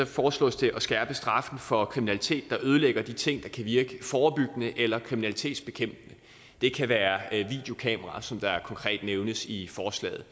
foreslås det at skærpe straffen for kriminalitet der ødelægger de ting der kan virke forebyggende eller kriminalitetsbekæmpende det kan være videokameraer som konkret nævnes i forslaget